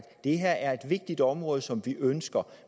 det her er et vigtigt område som vi ønsker